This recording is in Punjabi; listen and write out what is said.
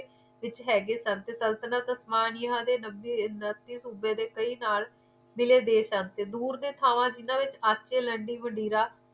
ਵਿੱਚ ਹੈ ਗਏ ਸਨ ਸਲਤਿਆਨ ਸਤਾਨ ਯਾ ਨੱਬੇ ਤੇ ਉੱਨਤੀ ਸੂਬੇ ਦੇ ਨਾਲ ਕਈ ਸੂਬੇ ਮਿਲੇ ਦੇਸ਼ ਸਨ ਦੂਰ ਦੇ ਤਾਵਾਂ ਜਿਨ੍ਹਾਂ ਵਿੱਚ ਲਡਿਗ ਵਦੀਰਾ